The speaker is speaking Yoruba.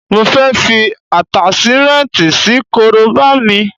Mo fẹ́ fi Àtáṣímẹ́ǹti sí korobá mi